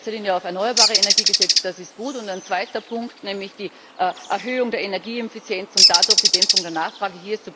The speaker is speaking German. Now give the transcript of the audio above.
Hier wird in erster Linie auf erneuerbare Energie gesetzt, das ist gut. Und ein zweiter Punkt, nämlich die Erhöhung der Energieeffizienz und dadurch die Dämpfung der Nachfrage.